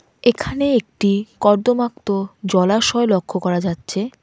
এখানে একটি কর্দমাক্ত জলাশয় লক্ষ করা যাচ্ছে.